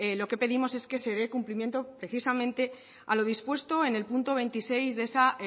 lo que pedimos es que se dé cumplimiento precisamente a lo dispuesto en el punto veintiséis de esa